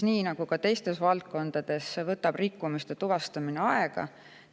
Nii nagu ka teistes valdkondades, võtab rikkumiste tuvastamine aega.